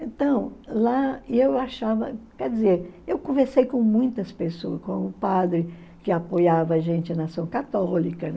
Então, lá eu achava, quer dizer, eu conversei com muitas pessoas, com o padre que apoiava a gente na ação católica